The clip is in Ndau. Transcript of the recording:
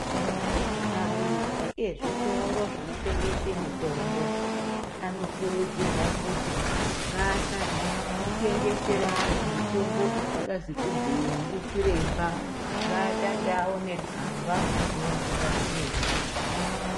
Aridzi ezvitoro zvinotengese mitombo anokurudzirwa kuti ngasatengesera antu mitombo isingazi kubhuyiwa ndichiremba ngaatange aone tsamba unobva kwachiremba.